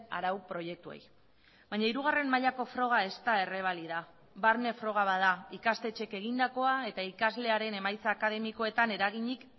arau proiektuei baina hirugarren mailako froga ez da errebalida barne froga bat da ikastetxeek egindakoa eta ikaslearen emaitza akademikoetan eraginik